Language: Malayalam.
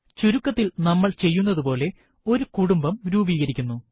ചുരുക്കത്തിൽ നമ്മൾ ചെയ്യുന്നതുപോലെ ഒരു കുടുംബം രൂപീകരിക്കുന്നു